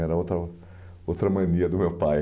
Era outra outra mania do meu pai.